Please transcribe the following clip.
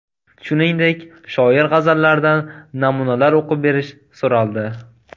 Shuningdek, shoir g‘azallaridan namunalar o‘qib berish so‘raldi.